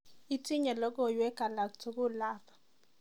Itinye logoiwek alatul ab